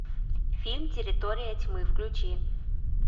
фильм территория тьмы включи